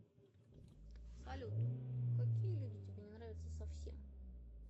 салют какие люди тебе не нравятся совсем